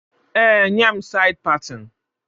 Ee, nye m said patin